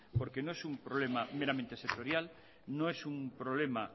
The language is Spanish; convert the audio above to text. porque no es un problema meramente sectorial no es un problema